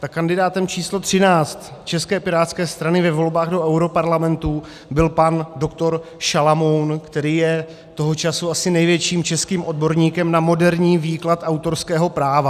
Tak kandidátem číslo 13 České pirátské strany ve volbách do europarlamentu byl pan dr. Šalamoun, který je toho času asi největším českým odborníkem na moderní výklad autorského práva.